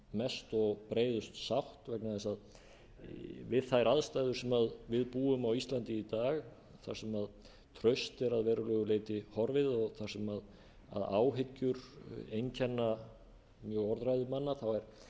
mest og breiðust sátt vegna þess að við þær aðstæður sem við búum á íslandi í dag þar sem traust er að verulegu leyti horfið og þar sem áhyggjur einkenna mjög orðræðu manna er